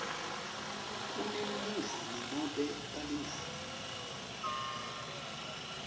kunemlingani nobe balingani